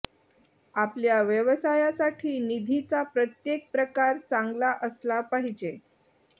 आपल्या व्यवसायासाठी निधीचा प्रत्येक प्रकार चांगला असला पाहिजे